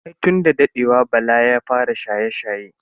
Ai tun da dadewa bala ya fara shaye-shaye.